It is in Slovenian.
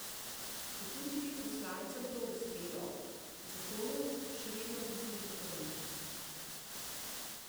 Četudi bi poslancem to uspelo, zakonu še vedno grozi referendum.